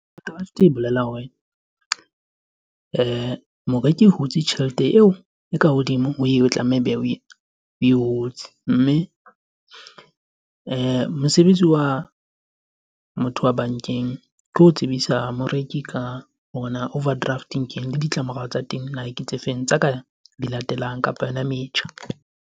Overdraft e bolela hore moreki e hutse tjhelete eo e ka hodimo ho eo e tlameha ebe oe hutse. Mme mosebetsi wa motho wa bankeng, ke ho tsebisa moreki ka ona overdraft keng? Le ditlamorao tsa teng na ke tse feng tsa ka di latelang kapa yona metjha?